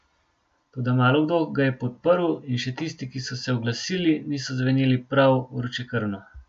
Toda malokdo ga je podprl in še tisti, ki so se oglasili, niso zveneli prav vročekrvno.